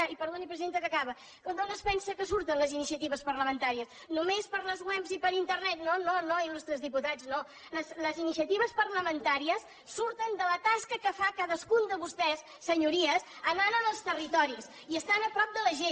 i perdoni presidenta que acabo d’on es pensa que surten les iniciatives parlamentàries només per les webs i per internet no no no il·lustres diputats no les iniciatives parlamentàries surten de la tasca que fa cadascun de vostès senyories anant als territoris i estant a prop de la gent